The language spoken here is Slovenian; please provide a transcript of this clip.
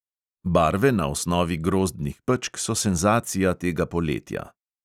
Barve na osnovi grozdnih pečk so senzacija tega poletja.